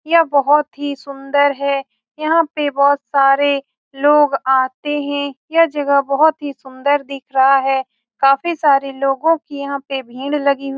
यह बहुत ही सुन्दर है यहाँ पे बहुत सारे लोग-आते है यह जगह बहुत ही सुन्दर दिख रहा है काफी सारी लोगो की यहाँ पे भीड़ लगी हुई --